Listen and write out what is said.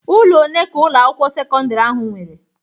Ụlọ one ka Ụlọ akwụkwọ sekọndrị ahụ nwere?